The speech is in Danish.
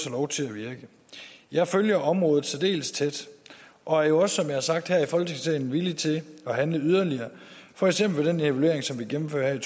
lov til at virke jeg følger området særdeles tæt og er jo også har sagt her i folketingssalen villig til at handle yderligere for eksempel ved den evaluering som vi gennemfører her i